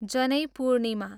जनै पूर्णिमा